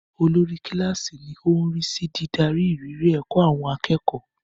Olórí kíláàsì ni ó ń rí sí dídarí ìrírí ẹ̀kọ́ àwọn akẹ́kọ̀ọ́.